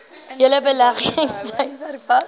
hele beleggingstydperk vas